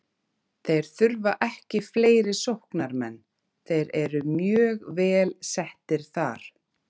Þeir þurfa ekki fleiri sóknarmenn, þeir eru mjög vel settir þar.